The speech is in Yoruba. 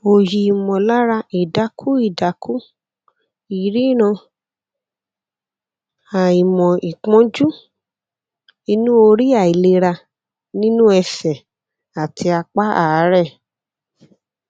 oyi imolara idaku idaku ìríran àìmọ ìpọnjú inú orí àìlera nínú ẹsẹ àti apá aare